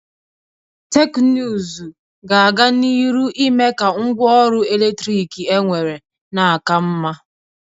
Teknụzụ ga-aga n'iru ime ka ngwa ọrụ eletrik enwere na-aka mma.